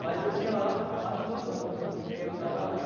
Mas eu fiquei lá mais de dois anos né porque eu estava.